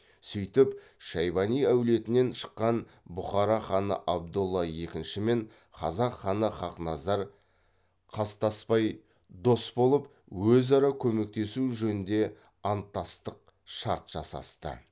сөйтіп шайбани әулетінен шыққан бұхара ханы абдолла екіншімен қазақ ханы хақназар қастаспай дос болып өзара көмектесу жөнінде анттастық шарт жасасты